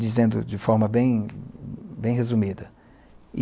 dizendo de forma bem bem resumida.